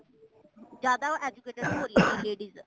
ਜ਼ਿਆਦਾ educated ਹੋਈ ਰਹੀਆਂ ਨੇ ladies